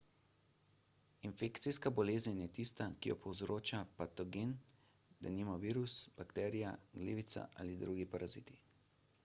infekcijska bolezen je tista ki jo povzroča patogen denimo virus bakterija glivica ali drugi paraziti